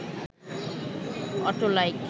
auto like